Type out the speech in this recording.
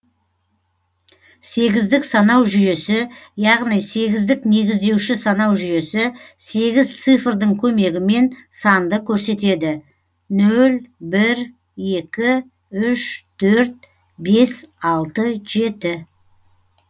сегіздік санау жүйесі яғни сегіздік негіздеуші санау жүйесі сегіз цифрдың көмегімен санды көрсетеді нөл бір екі үш төрт бес алты жеті